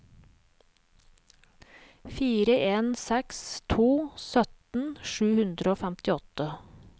fire en seks to sytten sju hundre og femtiåtte